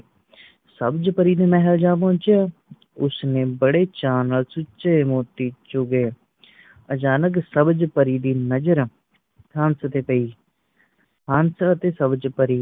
ਸਬਜ ਪਰੀ ਦੇ ਮਹੱਲ ਜਾਂ ਪੂਜਿਆ ਉਸਨੇ ਬੜੇ ਚਾ ਨਾਲ ਚੂਚੇ ਮੋਤੀ ਚੁਗੇ ਅਚਾਨਕ ਸਬਜ ਪਰੀ ਦੀ ਨਜ਼ਰ ਹੰਸ ਤੇ ਪਈ ਹੰਸ ਤੇ ਸਬਜ ਪਰੀ